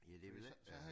Ja det ville ikke være